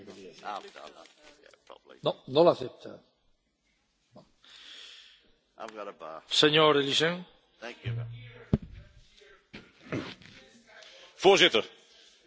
Voorzitter, de ontwerpbegroting 2019 staat weer vol van peperdure eurofiele ambities, die achteraf vaak onrealistisch, risicovol en soms zelfs op bedrog gebaseerd blijken te zijn.